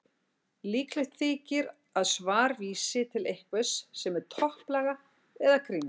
Líklegt þykir að svarf vísi til einhvers sem er topplaga eða kringlótt.